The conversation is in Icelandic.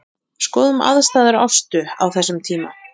Skoðum aðstæður Ástu á þessum tíma.